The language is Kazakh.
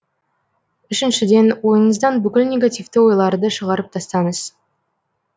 үшіншіден ойыңыздан бүкіл негативті ойларды шығарып тастаңыз